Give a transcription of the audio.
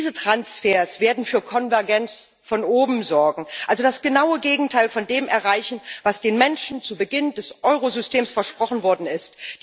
Diese Transfers werden für Konvergenz von oben sorgen, also das genaue Gegenteil von dem erreichen, was den Menschen zu Beginn des Eurosystems versprochen worden ist.